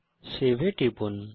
save এ টিপুন